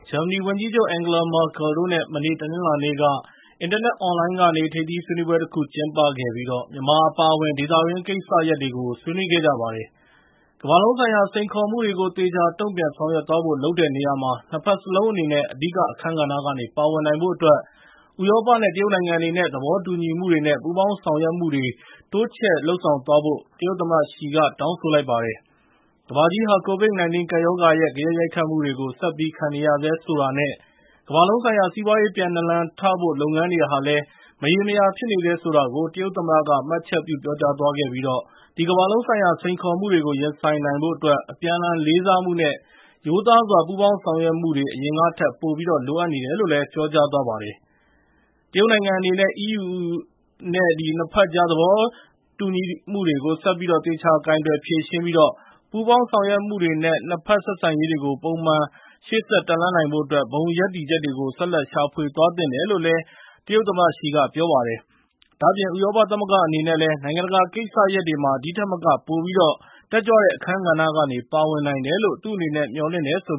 ဂျာမနီဝန်ကြီးချုပ် Angela Merkel တို့နဲ့ မနေ့ တနင်္လာနေ့က အင်တာနက် အွန်လိုင်းကနေ ထိပ်သီးဆွေးနွေးပွဲတခု ကျင်းပခဲ့ပြီး မြန်မာအပါအဝင် ဒေသတွင်းကိစ္စရပ်တွေကို ဆွေးနွေးခဲ့ကြပါတယ်။ ကမ္ဘာလုံးဆိုင်ရာ စိန်ခေါ်မှုတွေကို သေချာ တုံ့ပြန်ဆောင်ရွက်သွားဖို့ လုပ်တဲ့နေရာမှာ နှစ်ဖက်စလုံးအနေနဲ့ အဓိကအခန်းကဏ္ဍကနေ ပါဝင်နိုင်ဖို့အတွက် ဥရောပနဲ့ တရုတ်နိုင်ငံအနေနဲ့ သဘောတူညီမှုတွေ၊ ပူးပေါင်းဆောင်ရွက်မှုတွေနဲ့ တိုးချဲ့သွားဖို့ တရုတ်သမ္မတ Xi က တောင်းဆိုလိုက်ပါတယ်။ ကမ္ဘာကြီးဟာ COVID-19 ကပ်ရောဂါရဲ့ ဂယက်ရိုက်ခတ်မှုတွေကို ဆက်ပြီး ခံနေရဆဲဆိုတာနဲ့ ကမ္ဘာလုံးဆိုင်ရာ စီးပွားရေး ပြန်နာလန်ထဖို့ လုပ်ငန်းတွေဟာလည်း မရေမရာဖြစ်နေဆဲ ဆိုတာကို တရုတ်သမ္မတက မှတ်ချက်ပြု ပြောကြားသွားခဲ့ပြီး အဲဒီ ကမ္ဘာလုံးဆိုင်ရာ စိန်ခေါ်မှုတွေကို ရင်ဆိုင်နိုင်ဖို့အတွက် အပြန်အလှန် လေးစားမှုနဲ့ ရိုးသားစွာ ပူးပေါင်းဆောင်ရွက်မှုတွေ အရင်ကထက် ပိုပြီး လိုအပ်နေတယ်လို့လည်း ပြောကြားသွားပါတယ်။ တရုတ်နိုင်ငံနဲ့ EU အနေနဲ့ နှစ်ဖက်ကြား သဘောမတူညီမှုတွေကို ဆက်ပြီးတော့ သေချာကိုင်တွယ်ဖြေရှင်းပြီး ပူးပေါင်းဆောင်ရွက်မှုတွေနဲ့ နှစ်ဖက် ဆက်ဆံရေးတွေကို ပုံမှန် ရှေ့ဆက်တက်လှမ်းနိုင်ဖို့အတွက် ဘုံရပ်တည်ချက်တွေကို ဆက်လက်ရှာဖွေသွားသင့်တယ်လို့ တရုတ်သမ္မတ Xi က ပြောလိုက်ပါတယ်။ ဒါ့အပြင် ဥရောပသမဂ္ဂအနေနဲ့လည်း နိုင်ငံတကာကိစ္စရပ်တွေမှာ ဒီထက်မက ပိုပြီးတော့ တက်ကြွတဲ့ အခန်းကဏ္ဍကနေ ပါဝင်နိုင်တယ်လို့ သူ့အနေနဲ့ မျှော်လင့်တယ်လို့